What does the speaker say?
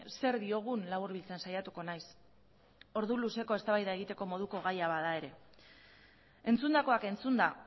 zer diogun laburbiltzen saiatuko naiz ordu luzeko eztabaida egiteko moduko gaia bada ere entzundakoak entzunda